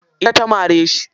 Ita ta mare shi.